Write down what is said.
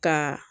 Ka